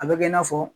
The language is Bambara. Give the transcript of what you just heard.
A bɛ kɛ i n'a fɔ